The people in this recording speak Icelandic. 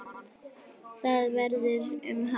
Hvað verður um hann?